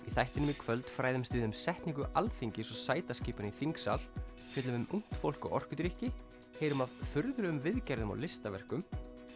þættinum í kvöld fræðumst við um setningu Alþingis og sætaskipan í þingsal fjöllum um ungt fólk og orkudrykki heyrum af furðulegum viðgerðum á listaverkum